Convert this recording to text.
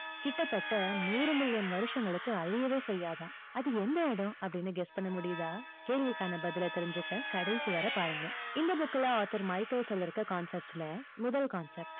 கிட்டத்தட்ட நூறு million வருஷங்களுக்கு அழியவே செய்யாதாம். அது எந்த இடம், அப்படின்னு guess பண்ண முடியுதா? கேள்விக்கான பதில் தெரிஞ்சிக்க, கடைசிவரை பாருங்க. இந்த book ல author மைக்கேல் சொல்லி இருக்க concepts ல முதல் concept